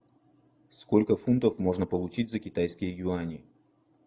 сколько фунтов можно получить за китайские юани